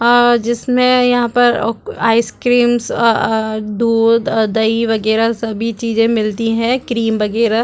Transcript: और जिसमे यहाँ पर ओक आइस-क्रीम अ दूध और दही वगैर सभी चीज़े मिलती है क्रीम वगैर--